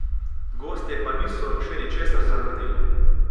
Gostje pa niso še ničesar zavrnili.